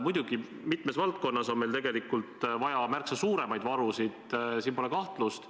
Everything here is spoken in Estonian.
Muidugi on meil mitmes valdkonnas tegelikult vaja märksa suuremaid varusid, selles pole kahtlust.